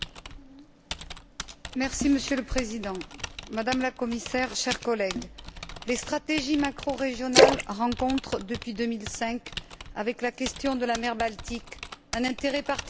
Monsieur le Président, Madame la Commissaire, chers collègues, les stratégies macrorégionales rencontrent depuis 2005, avec la question de la mer Baltique, un intérêt particulier au sein de ce Parlement.